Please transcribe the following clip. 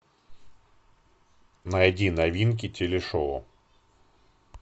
найди новинки телешоу